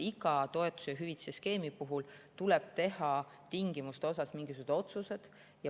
Iga toetuse ja hüvitise skeemi puhul tuleb teha tingimuste kohta mingisugused otsused.